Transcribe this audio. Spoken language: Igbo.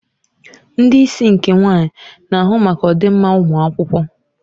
Ndị isi nke nwaanyị na-ahụ maka ọdịmma ụmụ akwụkwọ.